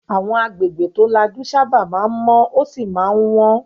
Àwọn agbègbè tó lajú sábà máa ń mọ́ ó sì máa ń wọ́n.